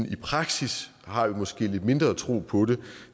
i praksis har vi måske lidt mindre tro på det